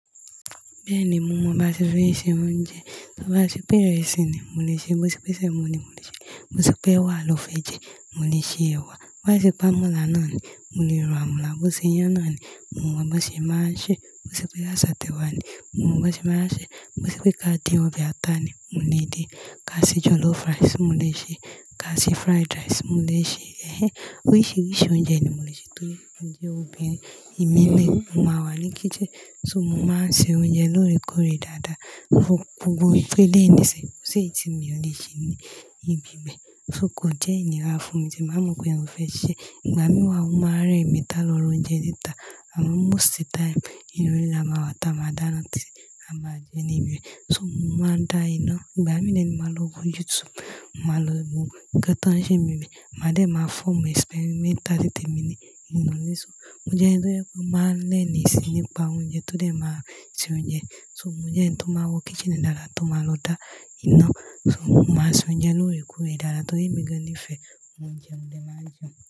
Bẹ́ẹ̀ ni, mo mọ báṣe bí i ṣe oúnjẹ. Bá ṣe pé ìrẹsì ni mo lè ṣe, bá ṣe pé sẹ̀mọ ni mo lè ṣe, bá ṣe pé ẹwà ló fẹ́ jẹ, mo lè ṣe ẹwà. Bá ṣe pé ámọ́là náà ni, mo lè ro amọ̀là. Bó ṣe iyán náà ni, mo mọ boṣe máa ṣé. Bá ṣe pé àisátẹ̀wá ni, mo mọ bọṣe máa ṣé. Bo ṣe pé ká dín ọbẹ̀ ata ni, mo lè dín. Ká ṣe jollof rice, mo lè ṣe. Ká ṣe fried rice, mo lè ṣe. Ẹ̀hẹn. Oríṣìíríṣìí oúnjẹ ni mo lè ṣe torí mo jẹ́ obìnrin. Èmi ni, mo máa wà ní kítchen, so mo máa ń ṣe oúnjẹ lóòrèkóòrè dáadáa. Fu-fun gbogbo ìpele ìníṣẹ́, kó ṣe èyí tí mi ò lè ṣe ní ibi mi, so kò jẹ́ ìníra fún mi tí màá mọ pé òun mo fẹ́ ṣe. Ìgbà mí wà ó máa n rẹ mi tà lọ ra oúnjẹ níta, àmọ́ most time inú ilé la máa wà tá, màá dánaa tí a má jẹ níbí. So mo máa ń dá iná. Ìgbà mí náà èmi màá lọ wo YouTube, màá lọ wo ǹkan tán ṣe nimi. Màá dẹ̀ ma form experimental ni tèmi ni inú ilé. So mo jẹ́ ẹni tó jẹ́ pé ó maa ń learns nípa oúnjẹ, tó dẹ̀ máa ṣe oúnjẹ. So mo jẹ́ ẹni tó máa wo kítchen dáadáa, tó máa lọ dá iná. So mo màá ń ṣe oúnjẹ lóòrèkóòrè dáadáa torí mi gan-an nifẹ́ oúnjẹ, mo dẹ̀ máa ń jẹun.